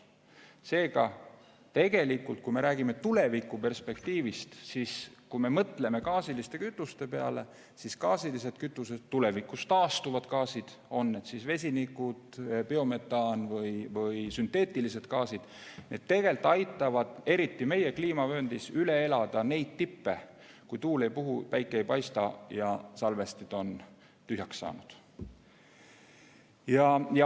Seega tegelikult, kui me räägime tulevikuperspektiivist, kui me mõtleme gaasiliste kütuste peale, siis gaasilised kütused, tulevikus taastuvad gaasid, on need vesinik, biometaan või sünteetilised gaasid – need tegelikult aitavad eriti meie kliimavööndis üle elada neid tippe, kui tuul ei puhu, päike ei paista ja salvestid on tühjaks saanud.